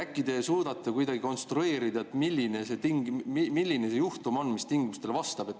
Äkki te suudate kuidagi konstrueerida, milline see juhtum on, mis nendele tingimustele vastab?